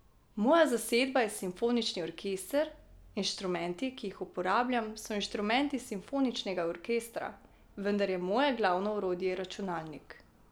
Moja zasedba je simfonični orkester, inštrumenti, ki jih uporabljam, so inštrumenti simfoničnega orkestra, vendar je moje glavno orodje računalnik.